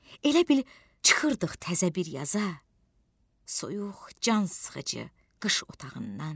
Elə bil çıxırdıq təzə bir yaza, soyuq can sıxıcı qış otağından.